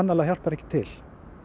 hjálpar ekki til